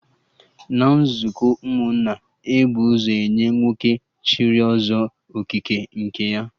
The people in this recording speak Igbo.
Na nzukọ ụmụnna, e bu ụzọ nye nwoke chịrị Ọzọ Okike nke ya